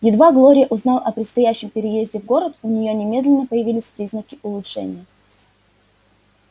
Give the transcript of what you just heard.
едва глория узнала о предстоящем переезде в город у неё немедленно появились признаки улучшения